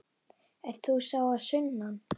Ert þú sá að sunnan?